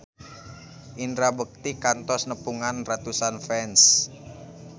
Indra Bekti kantos nepungan ratusan fans